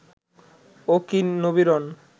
ওকি Nabiran